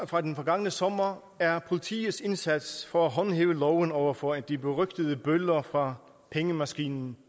fra den forgangne sommer er politiets indsats for at håndhæve loven over for de berygtede bøller fra pengemaskinen